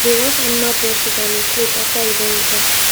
de wash animal brushes and e cloths after you don use am